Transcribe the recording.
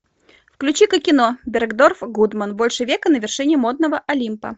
включи ка кино бергдорф гудман больше века на вершине модного олимпа